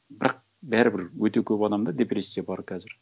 бірақ бәрібір өте көп адамда депрессия бар қазір